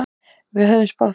Við höfðum spáð því.